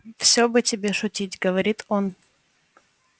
всё бы тебе шутить говорит он